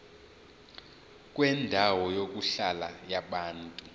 kwendawo yokuhlala yabantu